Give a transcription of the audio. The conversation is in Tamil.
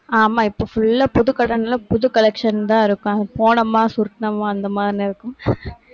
ஆமா, இப்ப full ஆ, புது கடைல புது collection தான் இருக்கும். போனோமா சுருட்டுனோமா அந்த மாதிரி இருக்கும்